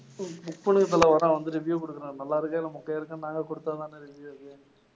book பண்ணுங்க தல வரேன் வந்து review குடுக்கறேன். நல்லாருக்கா இல்ல மொக்கையா இருக்கான்னு நாங்க குடுத்தா தானே review அது